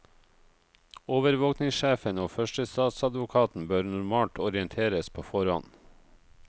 Overvåkingssjefen og førstestatsadvokaten bør normalt orienteres på forhånd.